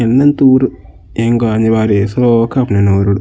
ಇಂದ್ಂತ್ ಊರು ಎಂಕ್ ಅನಿವಾರ್ಯ ಶೋಕಾಪುಂಡು ಎನ್ನ ಊರುಡು.